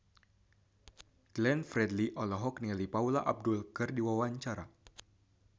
Glenn Fredly olohok ningali Paula Abdul keur diwawancara